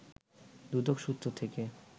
দুদক সূত্র থেকে